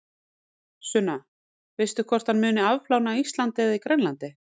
Sunna: Veistu hvort hann muni afplána á Íslandi eða Grænlandi?